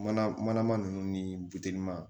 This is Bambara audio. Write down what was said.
Mana mana ninnu ni biliman